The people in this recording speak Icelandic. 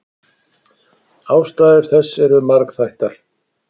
Ástæður þess eru margþættar.